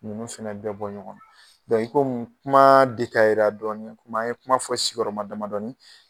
Ninnu fɛnɛ bɛ bɔ ɲɔgɔnna i komi kuma dɔɔni komi an ye kuma fɔ sigiyɔrɔma damadɔ ni